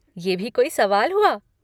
ये भी कोई सवाल हुआ!